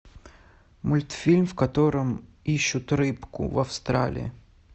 мультфильм в котором ищут рыбку в австралии